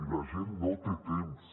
i la gent no té temps